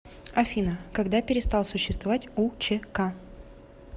афина когда перестал существовать учк